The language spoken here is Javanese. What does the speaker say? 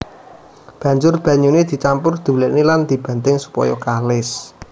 Banjur banyuné dicampur diulèni lan dibanting supaya kalis